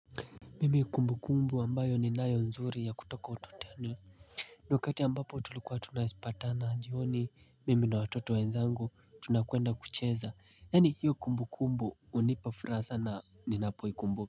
Mimi kumbu kumbu ambayo ni nayo nzuri ya kutoka utotoni ni wkati ambapo tulikuwa tunaisipatana jioni mimi na watoto wenzangu tunakwenda kucheza yani hiyo kumbu kumbu unipafuraha sana ni napoikumbuka.